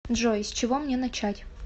джой с чего мне начать